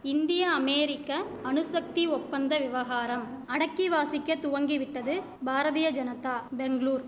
இந்திய அமெரிக்க அணுசக்தி ஒப்பந்த விவகாரம் அடக்கி வாசிக்க துவங்கிவிட்டது பாரதிய ஜனத்தா பெங்ளூர்